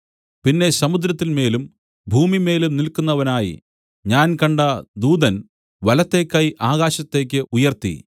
പിന്നെ സമുദ്രത്തിന്മേലും ഭൂമിമേലും നില്ക്കുന്നവനായി ഞാൻ കണ്ട ദൂതൻ വലത്തെ കൈ ആകാശത്തേക്ക് ഉയർത്തി